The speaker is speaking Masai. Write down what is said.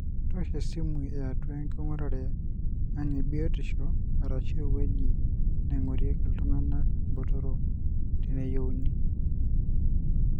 tosho esimu atua engurere eang e biotisho arashu eweuji naingorieki iltunganak botorok teneyieuni.